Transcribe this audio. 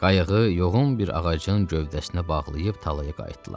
Qayığı yoğun bir ağacın gövdəsinə bağlayıb talaya qayıtdılar.